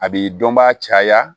A b'i dɔnbaa caya